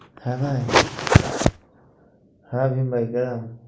হ্যাঁ হ্যাঁ